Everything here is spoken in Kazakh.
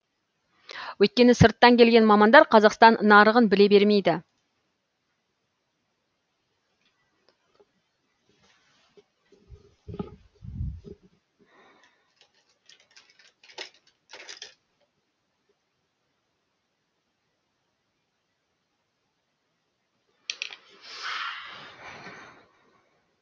өйткені сырттан келген мамандар қазақстан нарығын біле бермейді